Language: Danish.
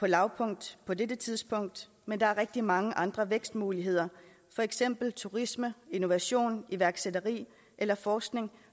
lavpunkt på dette tidspunkt men der er rigtig mange andre vækstmuligheder for eksempel turisme innovation iværksætteri eller forskning